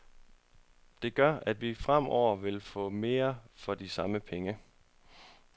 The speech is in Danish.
Det gør, at vi fremover vil få mere for de samme penge.